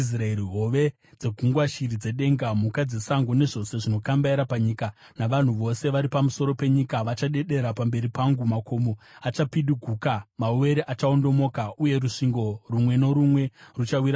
Hove dzegungwa, shiri dzedenga, mhuka dzesango, nezvose zvinokambaira panyika, navanhu vose vari pamusoro penyika vachadedera pamberi pangu. Makomo achapidiguka, mawere achaondomoka uye rusvingo rumwe norumwe ruchawira pasi.